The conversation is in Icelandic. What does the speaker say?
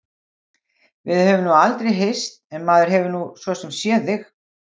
Við höfum nú aldrei hist en maður hefur nú svo sem séð þig.